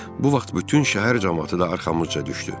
Bu vaxt bütün şəhər camaatı da arxamızca düşdü.